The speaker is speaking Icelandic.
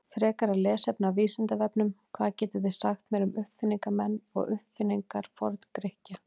Frekara lesefni af Vísindavefnum: Hvað getið þið sagt mér um uppfinningamenn og uppfinningar Forngrikkja?